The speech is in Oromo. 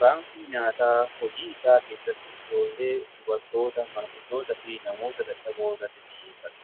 baankiin nyaataa hojii isaa keessatti ijoollee, dubartoota, manguddootaa fi namoota dadhaboo irratti xiyeeffata.